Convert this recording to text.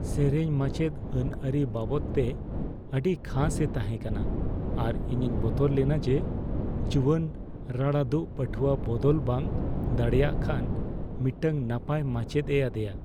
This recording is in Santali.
ᱥᱮᱹᱨᱮᱹᱧ ᱨᱢᱟᱪᱮᱫ ᱟᱹᱱᱟᱹᱨᱤ ᱵᱟᱵᱚᱫᱛᱮ ᱟᱹᱰᱤ ᱠᱷᱟᱥᱼᱮ ᱛᱟᱦᱮᱸ ᱠᱟᱱᱟ, ᱟᱨ ᱤᱧᱤᱧ ᱵᱚᱛᱚᱨ ᱞᱮᱱᱟ ᱡᱮ ᱡᱩᱣᱟᱹᱱ ᱨᱟᱲᱟᱫᱩᱜ ᱯᱟᱹᱴᱷᱩᱣᱟᱹ ᱵᱚᱫᱚᱞ ᱵᱟᱝ ᱫᱟᱲᱮᱭᱟᱜ ᱠᱷᱟᱱ ᱢᱤᱫᱴᱟᱝ ᱱᱟᱯᱟᱭ ᱢᱟᱪᱮᱫᱼᱮ ᱟᱫᱮᱭᱟ ᱾